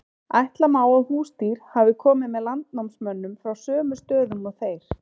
ætla má að húsdýr hafi komið með landnámsmönnum frá sömu stöðum og þeir